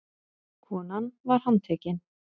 Konan var handtekin